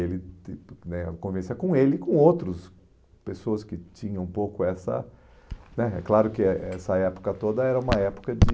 Ele que né a convivência com ele e com outros pessoas que tinham um pouco essa né... É claro que eh essa época toda era uma época de...